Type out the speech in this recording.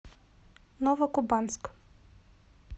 новокубанск